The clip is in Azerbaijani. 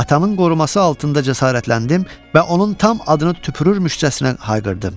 Atamın qoruması altında cəsarətləndim və onun tam adını tüpürürmüşcəsinə hayqırdım.